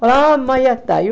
Falei, mas já saiu